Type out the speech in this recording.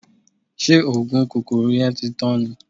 Ṣé oògùn kòkòrò yẹn ti tán ni?